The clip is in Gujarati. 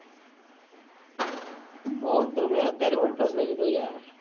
ફોન તો મેં અત્યારે one plus લઇ લીધો યાર.